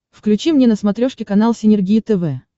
включи мне на смотрешке канал синергия тв